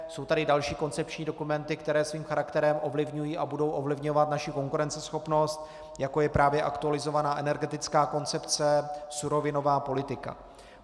Jsou tady další koncepční dokumenty, které svým charakterem ovlivňují a budou ovlivňovat naši konkurenceschopnost, jako je právě aktualizovaná energetická koncepce, surovinová politika.